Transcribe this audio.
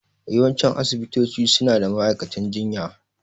Yawancin asibitoci suna da ma'aikatan jinya.